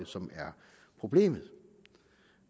som er problemet